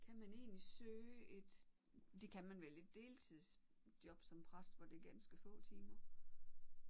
Kan man egentlig søge et det kan man vel et deltidsjob som præst hvor det er ganske få timer